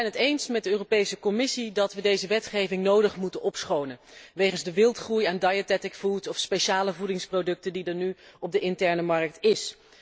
We zijn het eens met de Commissie dat we deze wetgeving nodig moeten opschonen wegens de wildgroei aan diabetic food of speciale voedingsproducten die er nu op de interne markt is.